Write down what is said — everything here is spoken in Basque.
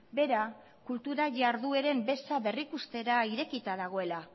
bera kultura jardueren beza berrikustera irekita dagoela